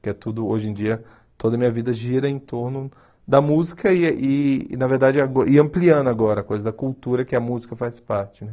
Que é tudo, hoje em dia, toda minha vida gira em torno da música e e, na verdade, agora e ampliando agora a coisa da cultura que a música faz parte, né?